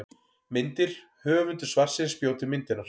Myndir: Höfundur svarsins bjó til myndirnar.